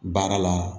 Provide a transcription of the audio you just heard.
Baara la